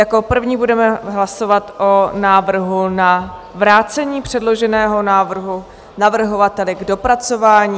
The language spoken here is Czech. Jako první budeme hlasovat o návrhu na vrácení předloženého návrhu navrhovateli k dopracování.